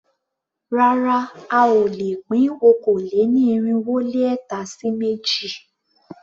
Rárá a ò lè pín okòó-lé-ní-irínwó-lé-ẹ̀ta sí méjì.